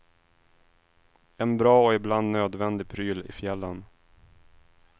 En bra och ibland nödvändig pryl i fjällen.